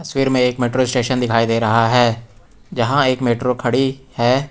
तस्वीर में एक मेट्रो स्टेशन दिखाई दे रहा है जहां एक मेट्रो खड़ी है।